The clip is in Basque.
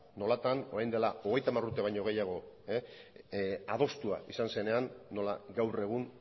nolatan orain dela hogeita hamar urte baino gehiago adostua izan zenean nola gaur egun